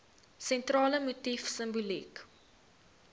sentrale motief simboliek